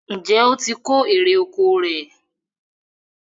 Njé o tí kò èrò ọkọ̀ rẹ?